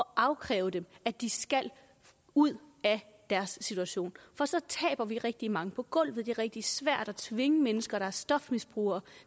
afkræve dem at de skal ud af deres situation for så taber vi rigtig mange på gulvet det er rigtig svært at tvinge mennesker der er stofmisbrugere